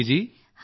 ਹਾਂ ਜੀ ਸਰ